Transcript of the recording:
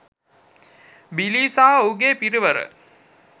බිලී සහ ඔහුගේ පිරිවර